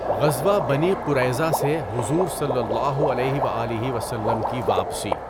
غزوہ بَنِی قُرَیْظَہ سے حضور صلی اللہ علیہ و آلہ و سلم کی واپسی